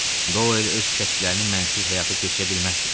Doyl öz kəşflərini mənsiz həyata keçirə bilməzdi.